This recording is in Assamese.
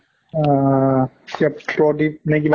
আহ কেপ প্ৰদীপ নে কিবা